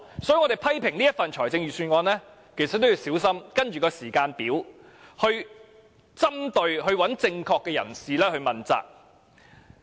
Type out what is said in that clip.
所以，就這份預算案作出批評時也得小心，必須按時間表針對正確的人士，向他問責。